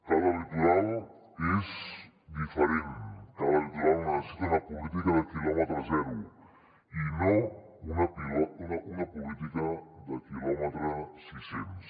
cada litoral és diferent cada litoral necessita una política de quilòmetre zero i no una política de quilòmetre sis cents